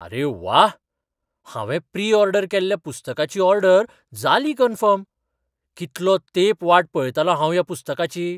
आरे व्वा! हांवें प्री ऑर्डर केल्ल्या पुस्तकाची ऑर्डर जाली कन्फर्म. कितलो तेंप वाट पळयतालों हांव ह्या पुस्तकाची .